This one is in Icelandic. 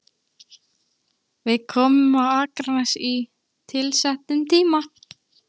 Við komum á Akranes á tilsettum tíma.